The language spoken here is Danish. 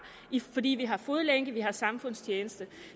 fordi vi har fodlænke og samfundstjeneste